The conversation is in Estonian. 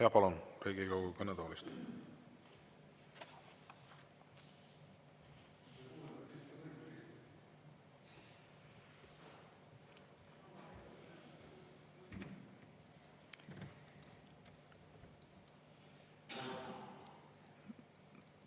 Jaa, palun, Riigikogu kõnetoolist!